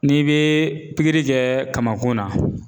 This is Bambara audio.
N'i bɛ pikiri kɛ kamakun na.